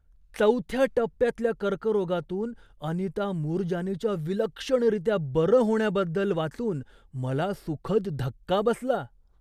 चौथ्या टप्प्यातल्या कर्करोगातून अनिता मूरजानीच्या विलक्षणरीत्या बरं होण्याबद्दल वाचून मला सुखद धक्का बसला.